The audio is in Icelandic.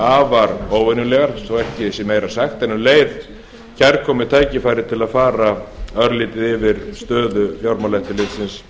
afar óvenjulegar svo ekki sé meira sagt en um leið kærkomið tækifæri til að fara örlítið yfir stöðu fjármálaeftirlitsins